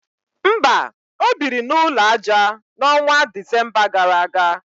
mba, o biri n’ụlọ aja, n’ọnwa Disemba gara aga